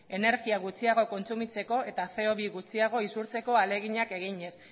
energia gutxiago kontsumitzeko eta ce o bi gutxiago isurtzeko ahaleginak eginez